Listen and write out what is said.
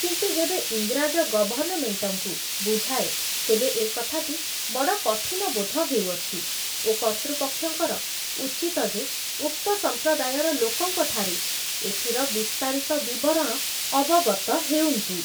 କିନ୍ତୁ ଯେବେ ଇଂରାଜ ଗଭର୍ଣ୍ଣମେଣ୍ଟଙ୍କୁ ବୁଝାଏ, ତେବେ ଏ କଥାଟି ବଡ଼ କଠିନବୋଧ ହେଉଅଛି ଓ କର୍ତ୍ତୃପକ୍ଷଙ୍କର ଉଚିତ ଯେ ଉକ୍ତ ସମ୍ପ୍ରଦାୟର ଲୋକଙ୍କଠାରୁ ଏଥିର ବିସ୍ତାରିତ ବିବରଣ ଅବଗତ ହେଉନ୍ତୁ ।